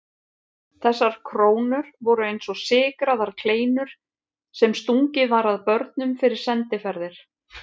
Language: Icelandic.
Þessar krónur voru eins og sykraðar kleinur sem stungið var að börnum fyrir sendiferðir.